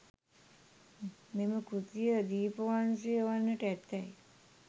මෙම කෘතිය දීපවංශය වන්නට ඇතැයි